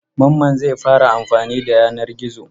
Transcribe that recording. Mamman zai fara amfani da yanar gizo.